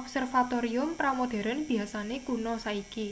observatorium pra-modheren biyasane kuna saiki